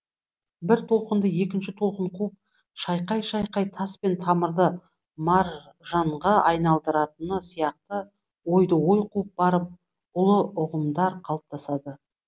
бір толқынды екінші толқын қуып шайқай шайқай тас пен тамырды маржанға айналдыратыны сияқты ойды ой қуып барып ұлы ұғымдар қалыптасады